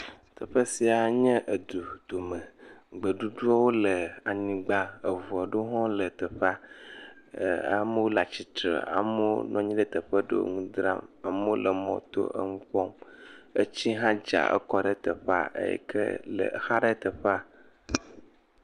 Teƒe sia nye du dome. Gbeɖuɖɔ le anyigba, ŋu aɖewo hã wole teƒea. Amewo le atsitre, amewo nɔ anyi ɖe teƒewo le nu dzram le mɔ to le nu kpɔm. Tsi hã dza kɔ ɖe teƒea eye exa ɖe teƒea.